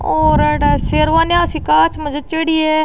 और एडा सेरवानिया सी कांच में जाचेड़ी है।